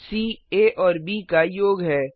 सी आ और ब का योग है